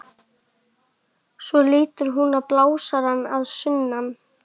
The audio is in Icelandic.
Hinrikka, manstu hvað verslunin hét sem við fórum í á sunnudaginn?